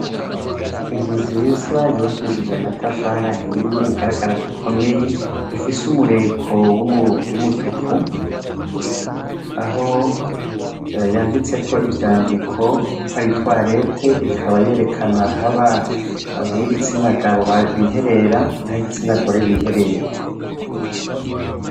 Inzu nziza yubakishije amatafari ahiye igaragara ko ikomeye, ifise umureko w'umutuku, aho yanditseko ivyandiko ko ari toilette ikaba yerekana haba ab'igitsina gabo biherera, n'abigitsina gore biherera.